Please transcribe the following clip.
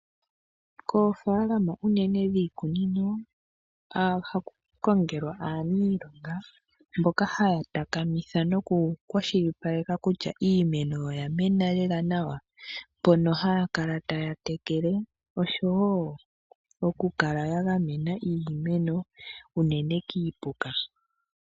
Koofalama unene dhiikunino phaku kongelwa aanilonga mboka haya takamitha noku kwashilipaleka kutya iimeno oyamena lela nawa, mpono haya kala taya tekele nokukala ya gamena iimeno unene kiipuka.